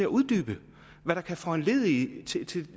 uddybe hvad der kan foranledige